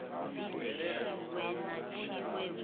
bvise tshiwe na tshiwe hu